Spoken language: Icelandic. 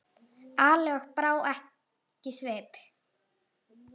Ali og brá ekki svip.